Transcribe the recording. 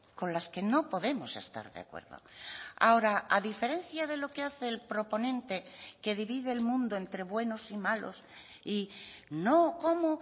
con las que no podemos estar de acuerdo ahora a diferencia de lo que hace el proponente que divide el mundo entre buenos y malos y no cómo